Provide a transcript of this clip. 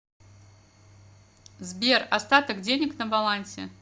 сбер остаток денег на балансе